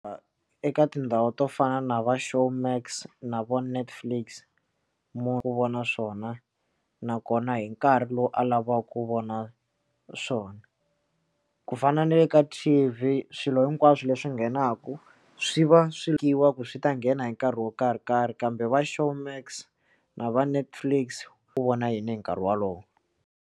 Eka tindhawu to fana na va Showmax na vo Netflix mo ku vona swona nakona hi nkarhi lowu a lavaku vona swona ku ku fana na le ka tv swilo hinkwaswo leswi nghenaka swi va swi nyikiwa ku swi ta nghena hi nkarhi wo karhi karhi kambe va Showmax na va Netflix wu vona yini hi nkarhi wolowo.